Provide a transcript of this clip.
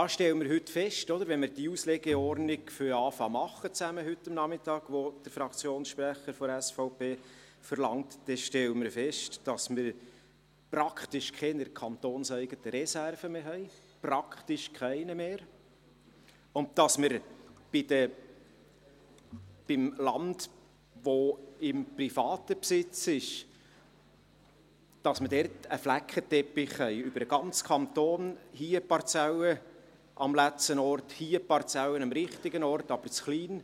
Das stellen wir heute fest: Wenn wir diese Auslegeordnung, die der Fraktionssprecher der SVP verlangt, heute Nachmittag zusammen zu machen beginnen, dann werden wir feststellen, dass wir praktisch keine kantonseigenen Reserven mehr haben, praktisch keine mehr, und dass wir beim Land, das im privaten Besitz ist, einen Flickenteppich über den ganzen Kanton haben: hier eine Parzelle am falschen Ort, hier meine Parzelle am richtigen Ort aber zu klein;